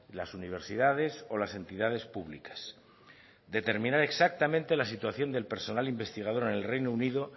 las universidades o las entidades públicas determinar exactamente la situación del personal investigador en el reino unido